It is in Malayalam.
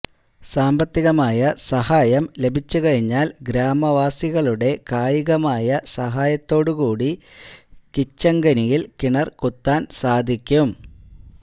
സാമ്പത്തികമായ സഹായം ലഭിച്ചു കഴിഞ്ഞാല് ഗ്രാമവാസികളുടെ കായികമായ സഹായത്തോടു കൂടി കിച്ചങ്കനിയില് കിണര് കുത്താന് സാധിക്കും